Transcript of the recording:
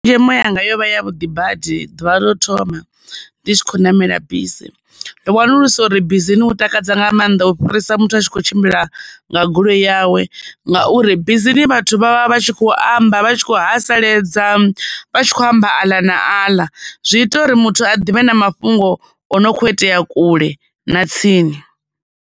Tshenzhemo yanga yo vha yavhuḓi badi ḓuvha ḽa u thoma ndi tshi kho ṋamela bisi. Ndo wanulusa uri bisini hu takadza nga maanḓa u fhirisa muthu a tshi kho tshimbila nga goloi yawe, ngauri bisini vhathu vha vha vha tshi khou amba vha tshi khou haseledza vha tshi kho amba aḽa na aḽa, zwi ita uri muthu a ḓivhe na mafhungo o no khou itea kule na tsini.